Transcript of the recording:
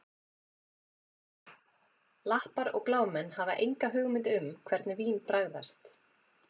Lappar og blámenn hafa enga hugmynd um hvernig vín bragðast